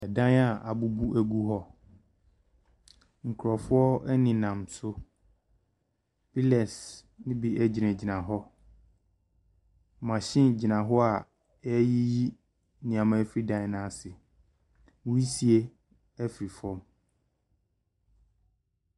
Dan a abubu gu hɔ. Nkrɔfoɔ nenam so. Pillars no bi gyinagyina hɔ. Machine gyina hɔ a ɛreyiyi nneɛama afiri dan no ase. Nwusie firi fam.